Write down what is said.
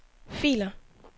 filer